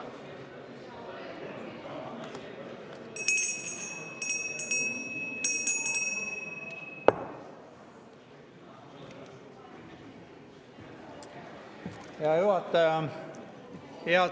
Hea juhataja!